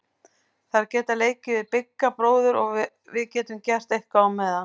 Þær geta leikið við Bigga bróður og við getum gert eitthvað á meðan.